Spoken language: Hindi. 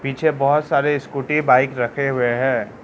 पीछे बहोत सारे स्कूटी बाइक रखे हुए हैं।